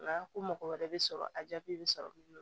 Nka ko mɔgɔ wɛrɛ bɛ sɔrɔ a jaabi bɛ sɔrɔ